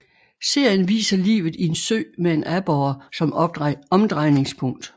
Serien viser livet i en sø med en aborre som omdrejningspunkt